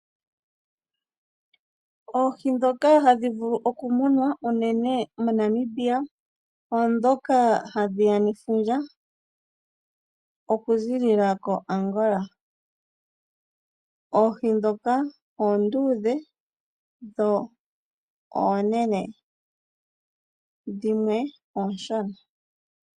Oohi ndhoka hadhi vulu okumunwa unene moNamibia oondhoka hadhi ya nefundja oku ziilila koAngola. Oohi ndhoka oonduudhe dho oonene. Dhimwe oonshona.